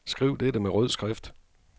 Skriv dette med rød skrift.